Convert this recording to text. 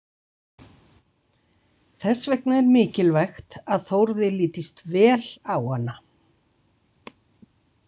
Þess vegna er mikilvægt að Þórði lítist vel á hana.